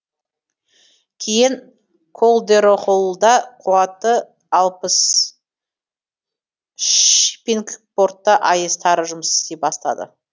кейін колдерохоллда қуаты алпыс шиппингпортта аэс тары жұмыс істей бастады